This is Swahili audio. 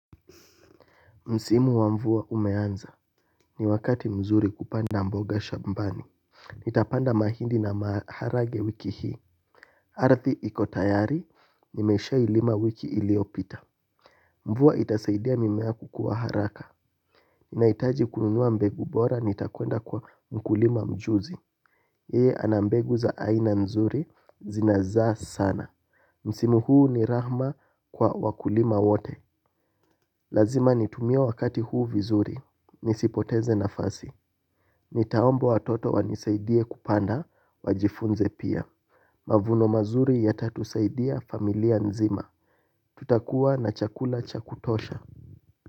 Msimu wa mvua umeanza ni wakati mzuri kupanda mboga shambani. Nitapanda mahindi na maharage wiki hii ardhi iko tayari nimeshailima wiki iliyopita. Mvua itasaidia mimea kukua haraka nahitaji kununua mbegu bora nitakwenda kwa mkulima mjuzi yeye ana mbegu za aina mzuri zinazaa sana. Msimu huu ni rahma kwa wakulima wote. Lazima nitumie wakati huu vizuri nisipoteze nafasi. Nitaomba watoto wanisaidie kupanda wajifunze pia. Mavuno mazuri yatatusaidia familia nzima. Tutakuwa na chakula chakutosha.